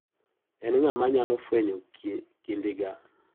En ng'a manyalo fwenyo kidinga.